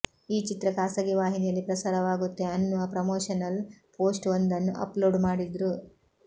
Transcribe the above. ಈ ಚಿತ್ರ ಖಾಸಗಿ ವಾಹಿನಿಯಲ್ಲಿ ಪ್ರಸಾರವಾಗುತ್ತೆ ಅನ್ನುವ ಪ್ರಮೋಷನಲ್ ಪೋಸ್ಟ್ ವೊಂದನ್ನ ಅಪ್ಲೋಡ್ ಮಾಡಿದ್ರು